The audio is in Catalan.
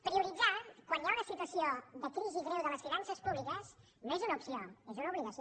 prioritzar quan hi ha una situació de crisi greu de les finances públiques no és una opció és una obligació